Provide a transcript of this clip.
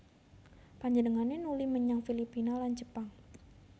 Panjenengané nuli menyang Filipina lan Jepang